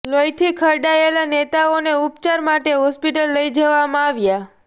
લોહીથી ખરડાયેલા નેતાઓને ઉપચાર માટે હોસ્પિટલ લઇ જવામાં આવ્યા